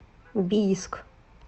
бийск